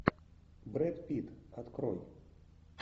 брэд питт открой